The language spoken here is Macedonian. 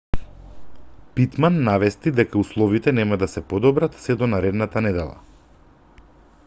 питман навести дека условите нема да се подобрат сѐ до наредната недела